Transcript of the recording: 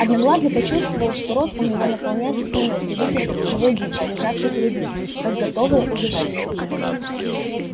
одноглазый почувствовал что рот у него наполняется слюной при виде живой дичи лежавшей перед ним как готовое угощение